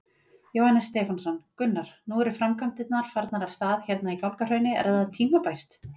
Jóhannes Stefánsson: Gunnar, nú eru framkvæmdirnar farnar af stað hérna í Gálgahrauni, er það tímabært?